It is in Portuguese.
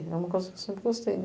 É uma coisa que eu sempre gostei.